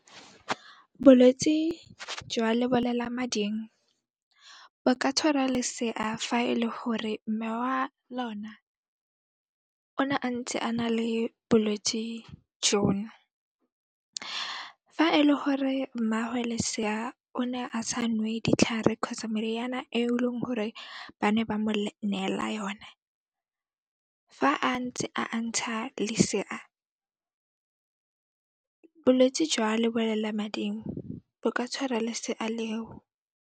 Bolwetsi jwa lebolelamading, bo ka tshwara lesea fa e le hore mme wa lona o ne a ntse a na le bolwetsi jono. Fa e le gore mmaagwe lesea o ne a sa nwe ditlhare kgotsa meriana e leng gore ba ne ba mo neela yone, fa a ntse a ntsha lesea, bolwetse jwa lebolelamading bo ka tshwara lesea leo.